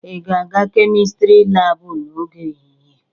Ị ga-aga kemịstri laabụ n'oge ehihie?